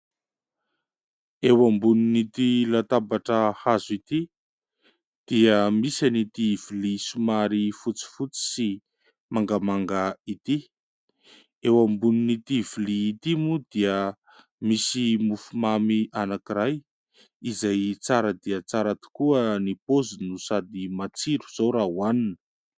Eo ambonin'n'ity latabatra hazo ity dia misy an'ity vilia somary fotsifotsy sy mangamanga ity. Eo ambonin'ity vilia ity moa dia misy mofomamy anankiray izay tsara dia tsara tokoa ny paoziny, sady matsiro izao raha ho hanina.